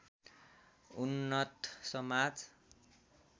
उन्नत समाज